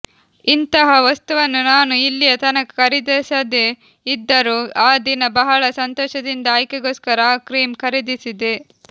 ಇಂತಹ ವಸ್ತುವನ್ನು ನಾನು ಇಲ್ಲಿಯ ತನಕ ಖರೀದಿಸದೇ ಇದ್ದರೂ ಆ ದಿನ ಬಹಳ ಸಂತೋಷದಿಂದ ಆಕೆಗೋಸ್ಕರ ಆ ಕ್ರೀಮ್ ಖರೀದಿಸಿದೆ